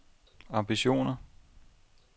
ambitioner